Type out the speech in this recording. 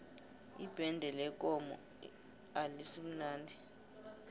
ibende lekomo alisimnandi